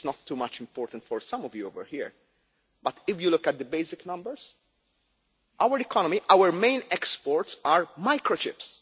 Maybe it is not too much important for some of you over here, but if you look at the basic numbers, our main exports are microchips.